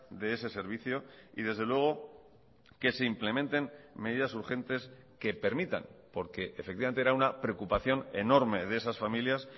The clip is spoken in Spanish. de ese servicio y desde luego que se implementen medidas urgentes que permitan porque efectivamente era una preocupación enorme de esas familias